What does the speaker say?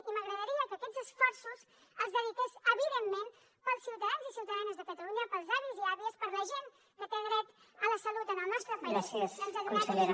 i m’agradaria que aquests esforços els dediqués evidentment pels ciutadans i ciutadanes de catalunya pels avis i àvies per la gent que té dret a la salut en el nostre país doncs a donar aquest suport